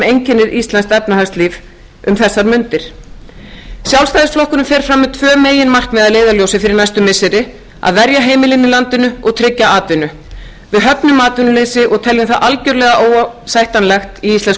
einkennir íslenskt efnahagslíf um þessar mundir sjálfstæðisflokkurinn fer fram með tvö meginmarkmið að leiðarljósi fyrir næstu missiri að verja heimilin í landinu og tryggja atvinnu við höfnum atvinnuleysi og teljum það algerlega óásættanlegt í íslensku